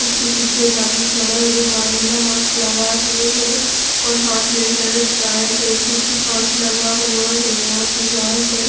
इसके पीछे एक आदमी खड़ा है जो मा नीला मास्क लगाए हुए हैं और हाथ में हेयर ड्रायर है पीछे कांच लगा हुआ है और दीवाल पर--